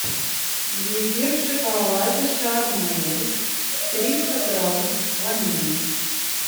зефир в шоколаде шармель триста грамм ванильный